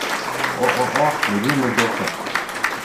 ооо любимый доктор